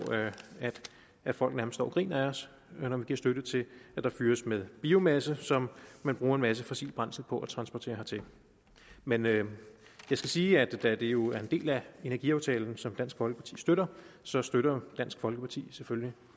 at folk nærmest står og griner af os når vi giver støtte til at der fyres med biomasse som man bruger en masse fossilt brændsel på at transportere hertil men jeg skal sige at da det jo er en del af energiaftalen som dansk folkeparti støtter så støtter dansk folkeparti selvfølgelig